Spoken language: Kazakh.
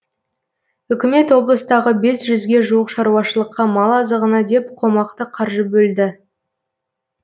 үкімет облыстағы бес жүзге жуық шаруашылыққа мал азығына деп қомақты қаржы бөлді